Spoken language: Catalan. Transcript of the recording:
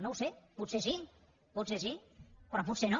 no ho sé potser sí potser sí però potser no